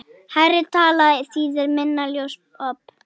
Hærri tala þýðir minna ljósop.